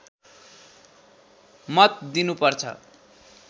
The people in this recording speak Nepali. मत दिनु पर्छ